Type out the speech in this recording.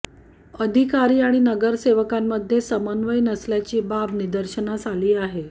अधिकारी आणि नगरसेवकांमध्ये समन्वय नसल्याची बाब निदर्शनास आली आहे